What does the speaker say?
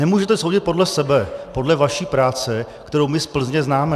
Nemůžete soudit podle sebe, podle vaší práce, kterou my z Plzně známe.